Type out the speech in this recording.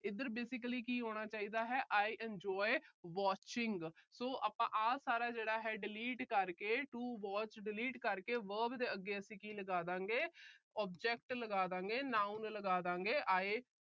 ਇਧਰ basically ਕੀ ਹੋਣਾ ਚਾਹੀਦਾ ਹੈ I enjoy watching so ਆਪਾ ਆ ਸਾਰਾ ਜਿਹੜਾ ਹੈ delete ਕਰਕੇ to watch delete ਕਰਕੇ verb ਦੇ ਅੱਗੇ ਅਸੀਂ ਕੀ ਲਗਾ ਦਾਗੇ, object ਲਗਾ ਦਾਗੇ, noun ਲਗਾ ਦਾਗੇ I